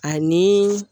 Ani